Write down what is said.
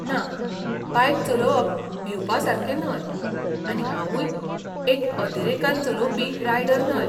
ना, बायक चलोवप भिवपासारकें न्हय आनी हांवूय एक अतिरेकान चलोवपी रायडर न्हय.